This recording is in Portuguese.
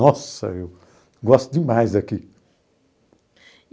Nossa, eu gosto demais daqui.